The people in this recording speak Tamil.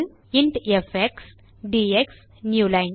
int FX DX newline